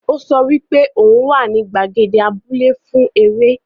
O so wipe oun wa ni gbàgede abúlẹ́ fún eré